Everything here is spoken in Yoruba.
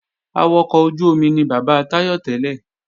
Awakọ̀ ojú-omi ni bàbá Táyọ̀ tẹ́lẹ̀